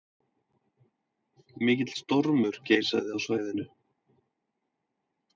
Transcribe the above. Mikill stormur geisaði á svæðinu